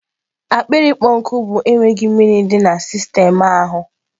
akpịrị ịkpọ nkụ bụ enweghị mmiri di na sistemu ahụ